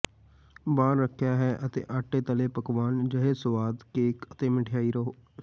ਬਾਹਰ ਰੱਖਿਆ ਹੈ ਅਤੇ ਆਟਾ ਤਲੇ ਪਕਵਾਨ ਅਜਿਹੇ ਸੁਆਦੀ ਕੇਕ ਅਤੇ ਮਿਠਾਈ ਰਹੋ